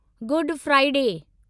good Friday